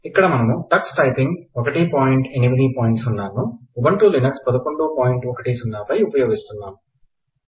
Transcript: ఇక్కడ మనము Tux typing ను 180 ఉబున్టులినెక్స్ 1110 పై ఉపయోగిస్తున్నాం